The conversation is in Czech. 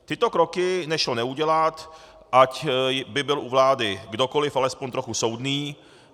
Tyto kroky nešlo neudělat, ať by byl u vlády kdokoliv alespoň trochu soudný.